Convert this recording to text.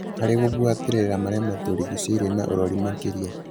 harĩ gũbuatĩrĩra marĩamatũrigicĩirie na ũrori makĩria.